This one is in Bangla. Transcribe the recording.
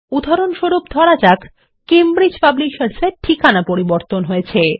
উদাহরণস্বরূপ ধরা যাক কেমব্রিজ পাবলিশার্স এর ঠিকানা পরিবর্তন হয়েছে